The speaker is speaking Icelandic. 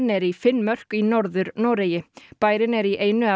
er í Finnmörk í Norður Noregi bærinn er í einu